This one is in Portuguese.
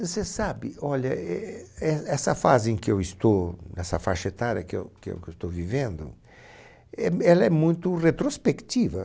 Você sabe, olha, e éh essa fase em que eu estou, essa faixa etária que eu que eu estou vivendo, éh ela é muito retrospectiva.